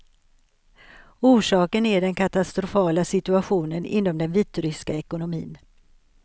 Orsaken är den katastrofala situationen inom den vitryska ekonomin.